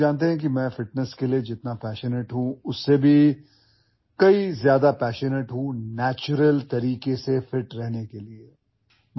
آپ لوگ جانتے ہیں کہ جتنا میں فٹنس کے بارے میں پرجوش ہوں، میں قدرتی طریقے سے فٹ رہنے کے لیے اس سے بھی زیادہ پرجوش رہتا ہوں